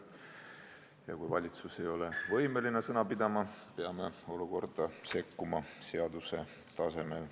Ja kui valitsus ei ole võimeline sõna pidama, peame olukorda sekkuma seaduse tasemel.